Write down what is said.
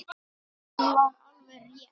Sem var alveg rétt.